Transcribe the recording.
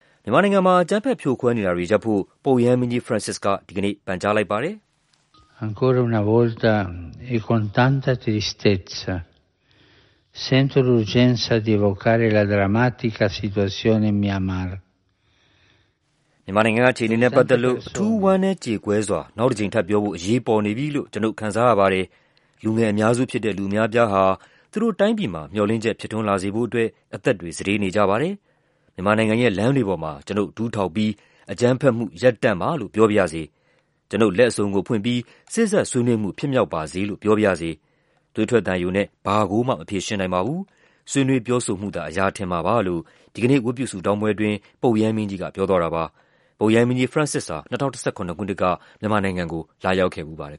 မြန်မာနိုင်ငံမှာ အကြမ်းဖက်ဖြိုခွဲနေတာတွေရပ်ဖို့ ပုပ်ရဟန်းမင်းကြီး ဖရန့်စစ်က ဒီကနေ့ ပန်ကြားလိုက်ပါတယ်။ "မြန်မာနိုင်ငံက အခြေအနေနဲ့ ပတ်သက်လို့ အထူးဝမ်းနည်းကြေကွဲစွာ နောက်တကြိမ်ထပ်ပြောဖို့ အရေးပေါ်နေပြီလို့ ကျွနု်ပ် ခံစားရပါတယ်။ လူငယ်အများစုဖြစ်တဲ့ လူအများအပြားဟာ သူတို့တိုင်းပြည်မှာ မျှော်လင့်ချက် ဖြစ်ထွန်းလာစေဖို့အတွက် အသက်တွေ စတေးနေကြပါတယ်။ မြန်မာနိုင်ငံရဲ့ လမ်းတွေပေါ်မှာ ကျွနု်ပ် ဒူးထောက်ပြီး 'အကြမ်းဖက်မှု ရပ်တန့်ပါ' လို့ ပြောပါရစေ။ ကျွနု်ပ် လက်အစုံကိုဖွင့်ပြီး 'စေ့စပ်ဆွေးနွေးမှု ဖြစ်မြောက်ပါစေ' လို့ ပြောပါရစေ။ သွေးထွက်သံယိုနဲ့ ဘာကိုမှ မဖြေရှင်းနိုင်ပါဘူး။ ဆွေးနွေးပြောဆိုမှုသာ အရာထင်မှာပါ။" လို့ ဒီကနေ့ ဝတ်ပြုဆုတောင်းပွဲအတွင်း ပုပ်ရဟန်းမင်းကြီးက ပြောသွားပါတယ်။ ပုပ်ရဟန်းမင်းကြီး ဖရန့်စစ်ဟာ ၂၀၁၇ ခုနှစ်က မြန်မာပြည်ကို လာရောက်ခဲ့ဖူးပါတယ်